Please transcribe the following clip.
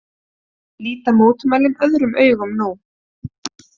Líta mótmælin öðrum augum nú